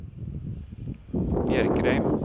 Bjerkreim